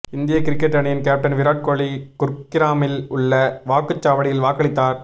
இந்திய கிரிக்கெட் அணியின் கேப்டன் விராட் கோலி குர்கிராமில் உள்ள வாக்குச்சாவடியில் வாக்களித்தார்